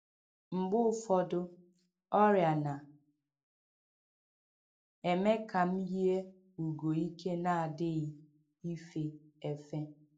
Mgbe ụfọdụ, ọrịa na - eme ka m yie ugo ike na - adịghị ife efe.